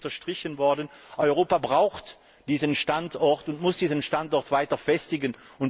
Es ist eben unterstrichen worden Europa braucht diesen Standort und muss diesen Standort weiter festigen.